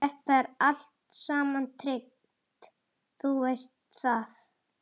Þetta er allt saman tryggt, þú veist það.